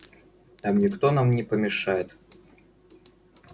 там никто нам не помешает